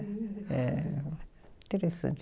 Eh, interessante.